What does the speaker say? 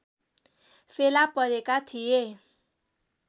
फेला परेका थिए